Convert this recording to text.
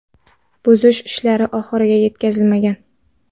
Buzish ishlari oxiriga yetkazilmagan.